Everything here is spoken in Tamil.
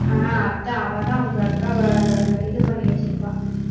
ஆஹ் அத்தை அவதான் அவங்க அக்காவை இது பண்ணி வச்சிருப்பா